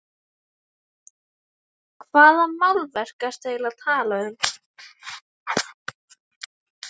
Hvaða málverk ertu eiginlega að tala um?